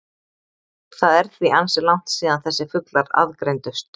Það er því ansi langt síðan þessir fuglar aðgreindust.